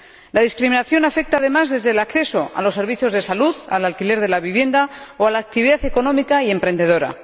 La discriminación afecta, además, desde el acceso a los servicios de salud al alquiler de la vivienda o a la actividad económica y emprendedora.